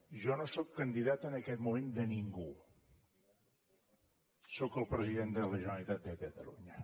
jo no sóc candidat en aquest moment de ningú sóc el president de la generalitat de catalunya